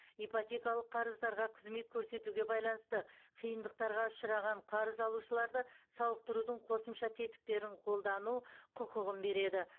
ипотекалық қарыздарға қызмет көрсетуге байланысты қиындықтарға ұшыраған қарыз алушыларды сауықтырудың қосымша тетіктерін қолдану құқығын береді